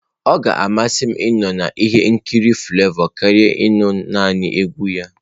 Ọ ga-amasị m ịnọ na ihe nkiri Flavour karịa naanị ige egwu ya.